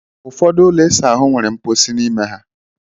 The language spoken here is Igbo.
Ụfọdụ ụlọ ịsa ahụ nwere mposi n'ime ha.